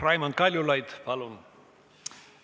Raimond Kaljulaid, palun!